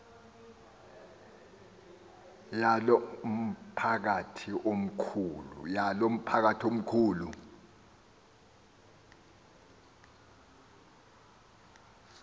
yalo mphakathi mkhulu